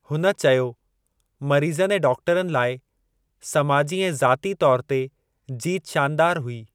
हुन चयो "मरीज़नि ऐं डॉक्टरनि लाइ, समाजी ऐं ज़ाती तौरु ते, जीत शानदारु हुई"।